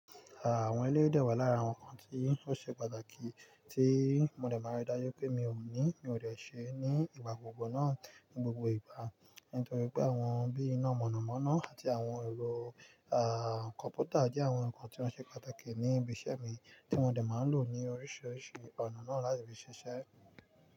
Ah awọn eléyi dè wà lára àwọn ǹkan tí ó ṣe pàtàkì tí mo dẹ̀ máa rí dájú pé mi ò ní, mi ò lè ṣe ní ìgbà gbogbo náà ní gbogbo ìgbà. Nítorí pé àwọn bí iná mọ̀nàmọ́ná àti àwọn ẹ̀rọ, à, kọ̀ǹpútà jẹ́ àwọn ǹkan tí ó ṣe pàtàkì ní ibi iṣẹ́ mi tí mo dẹ̀ máa ń lò ní oríṣiríṣi ọ̀nà náà láti fi ṣe iṣẹ́.